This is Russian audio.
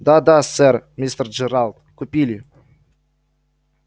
да да сэр мистер джералд купили